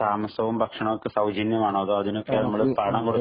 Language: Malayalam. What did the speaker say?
താമസവും ഭക്ഷണവും ഒക്കെ സൗജന്യമാണോ? അതോ അതിനൊക്കെ നമ്മള് പണം കൊടുക്കണോ?